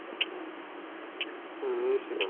ହୁଁ ନିଶ୍ଚିନ୍ତ